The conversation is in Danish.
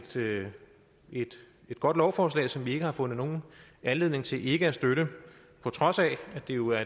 det et godt lovforslag som vi ikke har fundet nogen anledning til ikke at støtte på trods af at det jo er